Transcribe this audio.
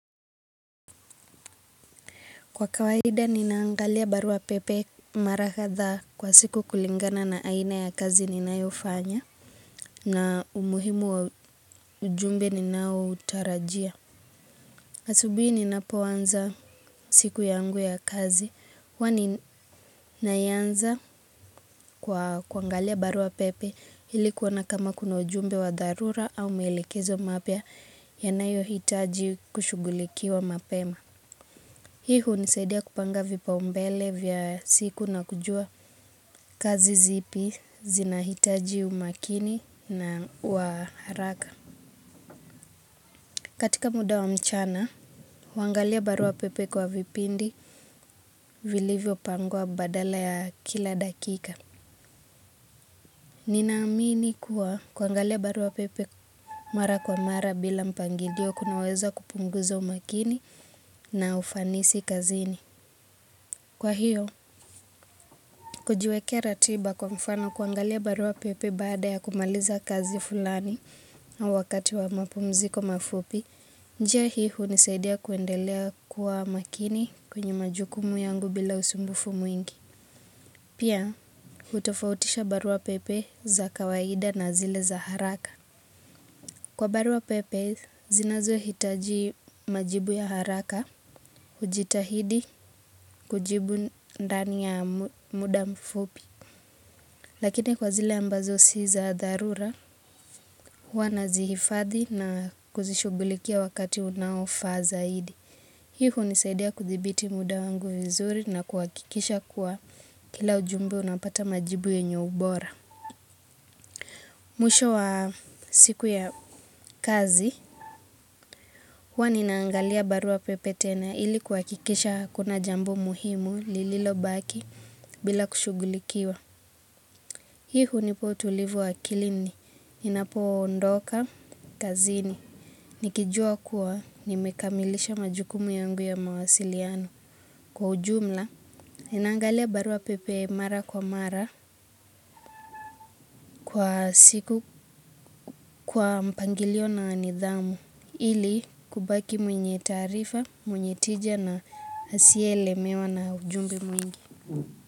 Kwa kawaida ninaangalia barua pepe mara kadhaa kwa siku kulingana na aina ya kazi ninayofanya na umuhimu wa ujumbe ninao utarajia. Asubuhi ninapo anza siku yangu ya kazi. Huwa ninaianza kwa kuangalia barua pepe ili kuona kama kuna ujumbe wa dharura au mwelekezo mapya yanayo hitaji kushughulikiwa mapema. Hii hunisaidia kupanga vipaumbele vya siku na kujua kazi zipi zinahitaji umakini na wa haraka. Katika muda wa mchana huangalia barua pepe kwa vipindi vilivyo pangwa badala ya kila dakika. Ninaamini kuwa kuangalia barua pepe mara kwa mara bila mpangilio kunaweza kupunguza umakini na ufanisi kazini. Kwa hiyo, kujiwekea ratiba kwa mfano kuangalia barua pepe baada ya kumaliza kazi fulani na wakati wa mapumziko mafupi njia hii hunisaidia kuendelea kuwa makini kwenye majukumu yangu bila usumbufu mwingi. Pia, hutofautisha barua pepe za kawaida na zile za haraka. Kwa barua pepe zinazohitaji majibu ya haraka hujitahidi kujibu ndani ya muda mfupi. Lakini kwa zile ambazo si za dharura huwa nazihifadhi na kuzishughulikia wakati unaofaa zaidi. Hii hunisaidia kuthibiti muda wangu vizuri na kuhakikisha kuwa kila ujumbe unapata majibu yenye ubora. Mwisho wa siku ya kazi huwa ninaangalia barua pepe tena ili kuhakikisha hakuna jambu muhimu lililo baki bila kushughulikiwa. Hii hunipa utulivu wa akilini ninapo ondoka kazini nikijua kuwa nimekamilisha majukumu yangu ya mawasiliano. Kwa ujumla, ninaangalia barua pepe mara kwa mara kwa siku kwa mpangilio na nidhamu ili kubaki mwenye taarifa mwenye tija na asiye lemewa na ujumbe mwingi.